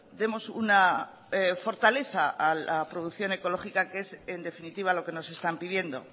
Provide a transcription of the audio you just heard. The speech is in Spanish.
demos una fortaleza a la producción ecológica que es en definitiva lo que nos están pidiendo